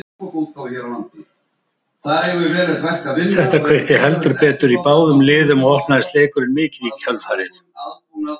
Þetta kveikti heldur betur í báðum liðum og opnaðist leikurinn mikið í kjölfarið.